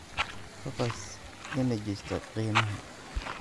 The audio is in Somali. kgas Energy Stock qiimaha